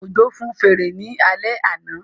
Òjó fun fèrè ní alẹ́ àná